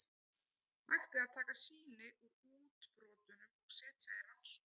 Hægt er að taka sýni úr útbrotunum og setja í rannsókn.